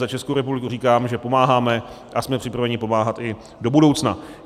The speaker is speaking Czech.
Za Českou republiku říkám, že pomáháme a jsme připraveni pomáhat i do budoucna.